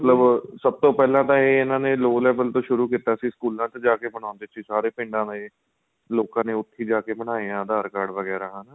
ਮਤਲਬ ਸਭ ਤੋ ਪਹਿਲਾਂ ਤਾਂ ਏ ਇਹਨਾ ਨੇ low level ਤੋ ਸ਼ੁਰੂ ਕੀਤਾ ਸੀ ਸਕੂਲਾਂ ਵਿੱਚ ਜਾਕੇ ਬਣਾਦੇ ਸੀ ਸਾਰੇ ਪਿੰਡਾਂ ਦੇ ਲੋਕਾਂ ਨੇ ਉਥੇ ਜਾਕੇ ਹੀ ਬਣਾਏ ਆਂ aadhar card ਵਗੇਰਾ ਹੈਨਾ